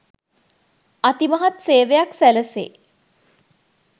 අතිමහත් සේවයක් සැලැසේ.